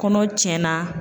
Kɔnɔ tiɲɛ na.